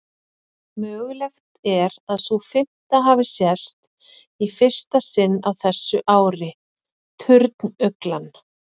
Mögulegt er að sú fimmta hafi sést í fyrsta sinn á þessu ári, turnuglan.